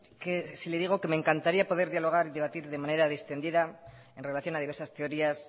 que si les digo que me encantaría poder dialogar y debatir de manera distendida en relación a diversas teorías